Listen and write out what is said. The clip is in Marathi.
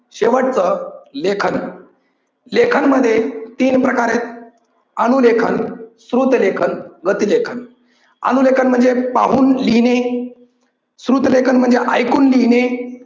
शेवटचं लेखन. लेखन मध्ये तीन प्रकार आहेत. अनु लेखन, श्रुत लेखन, गती लेखन. अनु लेखन म्हणजे पाहून लिहिणे, श्रुत लेखन म्हणजे ऐकून लिहिणे